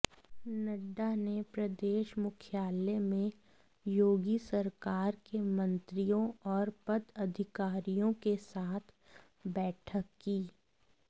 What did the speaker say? नड्डा ने प्रदेश मुख्यालय में योगी सरकार के मंत्रियों और पदाधिकारियों के साथ बैठक की